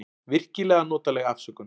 Virkilega notaleg afsökun.